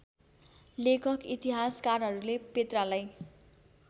लेखक इतिहासकारहरूले पेत्रालाई